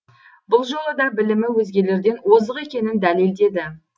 бұл жолы да білімі өзгелерден озық екенін дәлелдеді